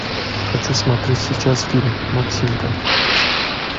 хочу смотреть сейчас фильм максимка